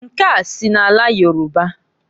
Nke a si n'ala Yoruba.